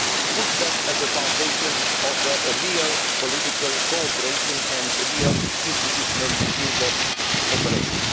put them at the foundation of real political cooperation and real institutional interoperation.